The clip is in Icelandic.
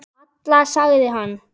Alla, sagði hann.